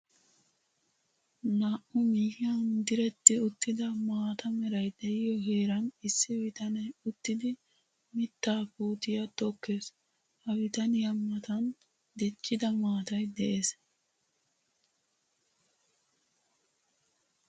Naa'u miyiyan diretti uttidda maata meray de'iyo heeran issi bitane uttiddi mittaa puutiya tokees. Ha bitaniya matan diccidda maatay de'ees.